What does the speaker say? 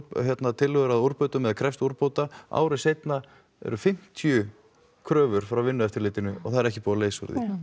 tillögur að úrbótum eða krefst úrbóta ári seinna eru fimmtíu kröfur frá vinnueftirlitinu og það er ekki búið að leysa úr því